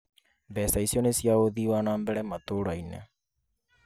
Mbeca icio nĩ cia ũthii wa nambere matũra-inĩ